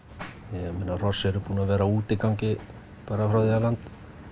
ég meina hross eru búin að vera á útigangi bara frá því að land